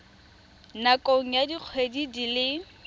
nakong ya dikgwedi di le